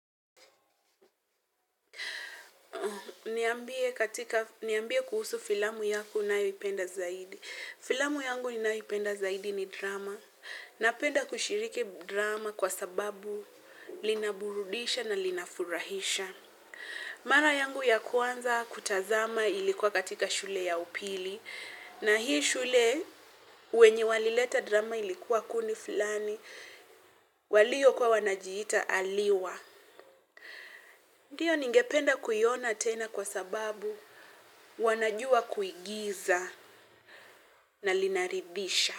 Niambie katika, niambie kuhusu filamu yako unayoipenda zaidi. Filamu yangu ninayoipenda zaidi ni drama. Napenda kushiriki drama kwa sababu linaburudisha na linafurahisha. Mara yangu ya kwanza kutazama ilikuwa katika shule ya upili. Na hii shule, wenye walileta drama ilikuwa kundi fulani, walio kuwa wanajiita aliwa. Ndiyo ningependa kuiona tena kwa sababu wanajua kuigiza na linaridhisha.